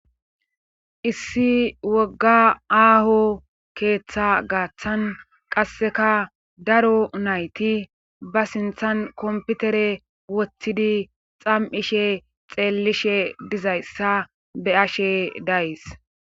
issi wogga aaho keeththa gaaththan qasseka daro nayti ba sinthan komputere wottidi xam7ishe xeellishe dizayssa be ashe days